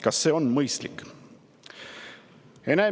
Kas see on mõistlik?